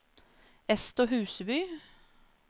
Ester Huseby